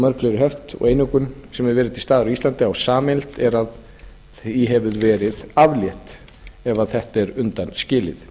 fleiri höft og einokun sem hefur verið til staðar á íslandi á sameiginlegt að því hefur verið aflétt ef þetta er undan skilið